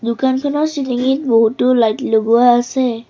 দোকানখনৰ চিলিঙিত বহুতো লাইট লগোৱা আছে।